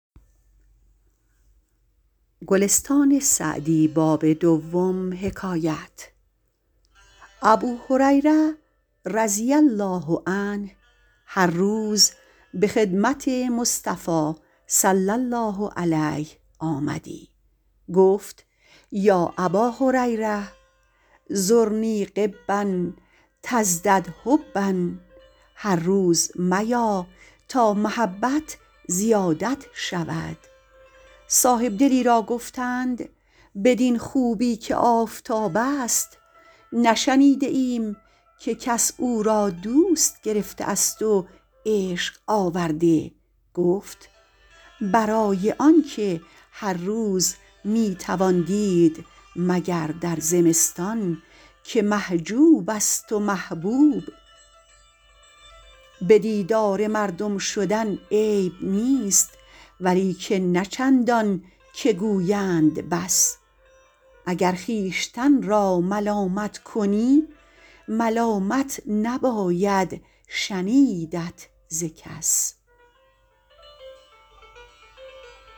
ابوهریره رضی الله عنه هر روز به خدمت مصطفی صلی الله علیه آمدی گفت یا اباهریرة زرنی غبا تزدد حبا هر روز میا تا محبت زیادت شود صاحبدلی را گفتند بدین خوبی که آفتاب است نشنیده ایم که کس او را دوست گرفته است و عشق آورده گفت برای آنکه هر روز می توان دید مگر در زمستان که محجوب است و محبوب به دیدار مردم شدن عیب نیست ولیکن نه چندان که گویند بس اگر خویشتن را ملامت کنی ملامت نباید شنیدت ز کس